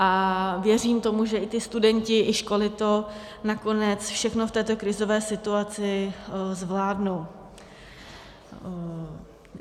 A věřím tomu, že i ti studenti i školy to nakonec všechno v této krizové situaci zvládnou.